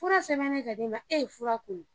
Fura sɛbɛnnen ka d'e ma e ye fura kunun